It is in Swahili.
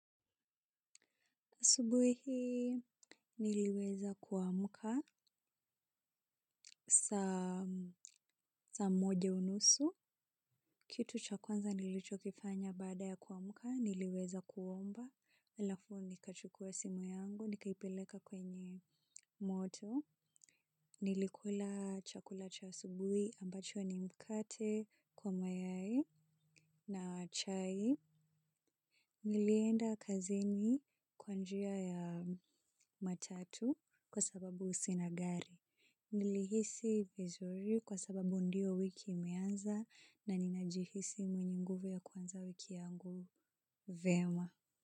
Asubuhi niliweza kuamka. Saa moja unusu, kitu cha kwanza nilicho kifanya baada ya kuamka niliweza kuomba. Halafu nikachukua simu yangu, nikaipeleka kwenye moto. Nilikula chakula cha asubuhi ambacho ni mkate kwa mayai na chai. Nilienda kazini kwa njia ya matatu kwa sababu sina gari. Nilihisi vizuri kwa sababu ndio wiki imeanza na ninajihisi mwenye nguvu ya kuanza wiki yangu vyema.